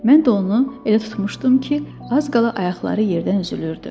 Mən də onu elə tutmuşdum ki, az qala ayaqları yerdən üzülürdü.